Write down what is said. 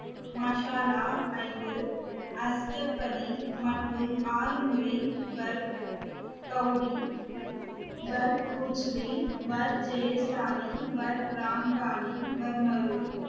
ஐந்து மற்றும் ஆறு முறை